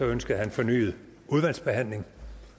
ønskede han fornyet udvalgsbehandling